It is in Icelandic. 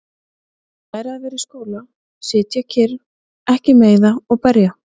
Læra að vera í skóla- sitja kyrr- ekki meiða og berja